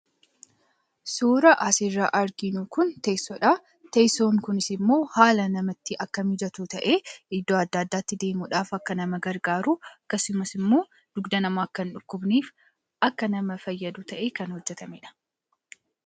Suuraan asitti arginu kun teessodha. Teesson kunis ammoo haala namatti akka mijatu ta'ee, iddoo adda addaatti deemudhaaf akka nama gargaaru akkasumas ammoo dugda namaa akka hindhukkubneef akka nama fayyadu ta'ee kan hojjetamedha.